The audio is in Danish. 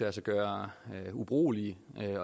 at gøre ubrugeligt